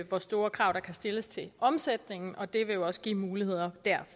hvor store krav der kan stilles til omsætningen og det vil jo også give nogle muligheder